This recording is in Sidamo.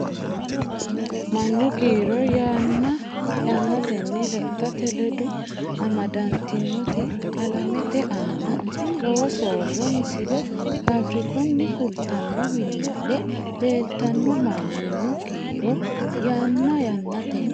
Mannu kiiro yanna yannatenni lexxate ledo amadantinoti alamete aana lowo soorro Misile Faafirikunni fultanno wiliile leeltanno Mannu kiiro yanna yannatenni.